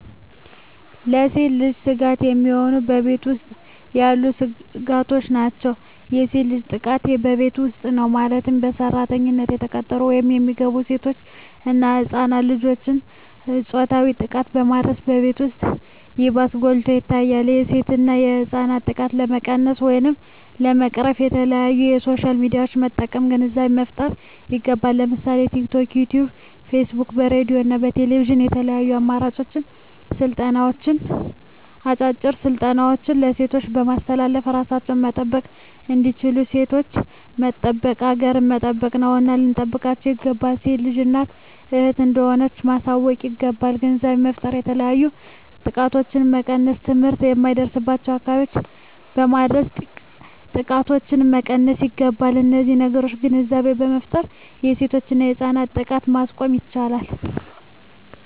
ለሴት ልጅ ስጋት የሚሆኑ በቤት ውስጥ ያሉ ስጋቶች ናቸው። የሴት ልጅ ጥቃት በቤት ውስጥ ነው ማለትም በሰራተኝነት የተቀጠሩ ወይም የሚገቡ ሴቶች እና ህፃናት ልጆችን ፆታዊ ጥቃትን በማድረስ በቤት ውስጥ ይባስ ጎልቶ ይታያል የሴቶችና ህፃናት ጥቃት ለመቀነስ ወይም ለመቅረፍ በተለያዪ በሶሻል ሚዲያዎችን በመጠቀም ግንዛቤ መፍጠር ይገባል ለምሳሌ በቲክቶክ, በዩቲቪ , በፌስቡክ በሬድዬ እና በቴሌቪዥን በተለያዩ አጫጭር ስልጠናዎች ሴቶችን በማሳተፍ እራሳቸውን መጠበቅ እንዲችሉና ሴቶችን መጠበቅ ሀገርን መጠበቅ ነውና ልንጠብቃቸው ይገባል። ሴት ልጅ እናት እህት እንደሆነች ማሳወቅ ይገባል። ግንዛቤ በመፍጠር የተለያዩ ጥቃቶችን መቀነስ ትምህርት የማይደርስበትን አካባቢዎች በማድረስ ጥቃቶችን መቀነስ ይገባል። በነዚህ ነገሮች ግንዛቤ በመፍጠር የሴቶችና የህፃናት ጥቃትን ማስቆም ይቻላል።